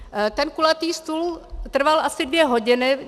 Ten kulatý stůl trval asi dvě hodiny.